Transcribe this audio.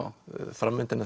framvindan í